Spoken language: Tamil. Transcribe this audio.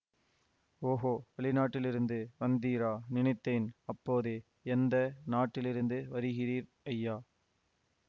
ஓகோ வெளிநாட்டிலிருந்து வந்தீரா நினைத்தேன் அப்போதே எந்த நாட்டிலிருந்து வருகிறீர் ஐயா